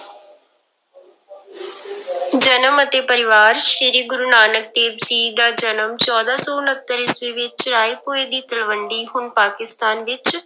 ਜਨਮ ਅਤੇ ਪਰਿਵਾਰ ਸ੍ਰੀ ਗੁਰੂ ਨਾਨਕ ਦੇਵ ਜੀ ਦਾ ਜਨਮ ਚੌਦਾਂ ਸੌ ਉਣਤਰ ਈਸਵੀ ਵਿੱਚ ਰਾਏਭੋਇ ਦੀ ਤਲਵੰਡੀ ਹੁਣ ਪਾਕਿਸਤਾਨ ਵਿੱਚ